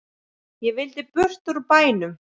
Ég vildi burt úr bænum.